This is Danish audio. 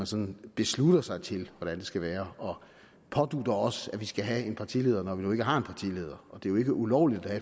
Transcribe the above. sådan beslutter sig til hvordan det skal være og pådutter os at vi skal have en partileder når vi nu ikke har en partileder og det er jo ikke ulovligt at